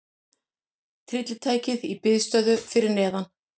Tryllitækið í biðstöðu fyrir neðan.